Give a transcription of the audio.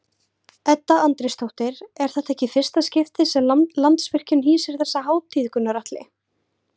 Edda Andrésdóttir: Er þetta ekki í fyrsta skipti sem Landsvirkjun hýsir þessa hátíð Gunnar Atli?